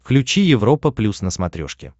включи европа плюс на смотрешке